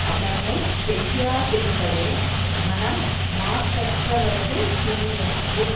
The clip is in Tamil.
அதனை செய்யாதிருப்பதே மனம் மாசற்றவரது துணியாகும்